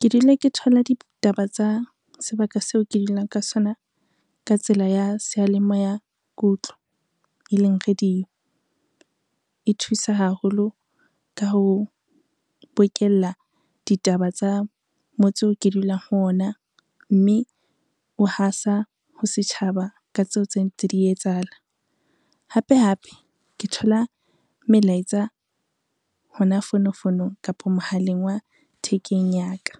Ke dula ke thola ditaba tsa sebaka seo ke dulang ka sona ka tsela ya seyalemoya e leng radio. E thusa haholo ka ho bokella ditaba tsa motse oo ke dulang ho ona, mme o hasa ho setjhaba ka tseo tse ntse di etsahala. Hape hape ke thola melaetsa hona mme fonofonong kapa mohaleng wa thekeng ya ka,